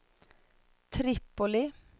Tripoli